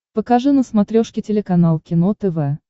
покажи на смотрешке телеканал кино тв